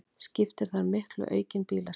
Skiptir þar miklu aukin bílasala